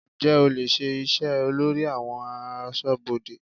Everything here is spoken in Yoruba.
Ǹjẹ́ o lè ṣe iṣẹ́ olórí àwọn aṣọ́bodè?